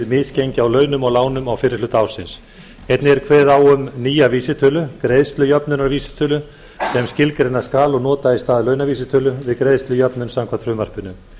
misgengi á launum og lánum á fyrri hluta ársins einnig er kveðið á um nýja vísitölu greiðslujöfnunarvísitölu sem skilgreina skal og nota í stað launavísitölu við greiðslujöfnun samkvæmt frumvarpinu